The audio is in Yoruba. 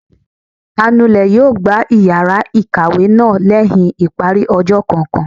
anulè yóò gbá iyara ikáwe náá lẹhin ipári ọjọ kọọkan